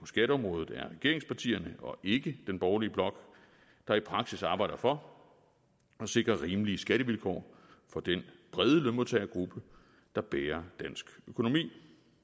skatteområdet er regeringspartierne og ikke den borgerlige blok der i praksis arbejder for at sikre rimelige skattevilkår for den brede lønmodtagergruppe der bærer dansk økonomi